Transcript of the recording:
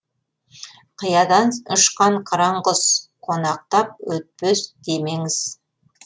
қиядан ұшқан қыран құс қонақтап өтпес демеңіз